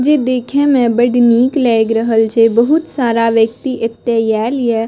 जे देखे में बड निक लाग रहल या बहुत सारा व्यक्ति एता आल या।